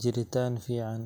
jiritaan fiican.